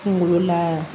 Kunkolo lan